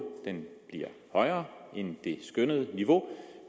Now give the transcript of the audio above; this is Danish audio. den bliver højere end det skønnede niveau